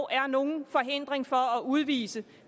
er nogen hindring for at udvise